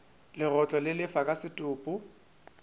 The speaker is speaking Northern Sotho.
legotlo le lefa ka setopo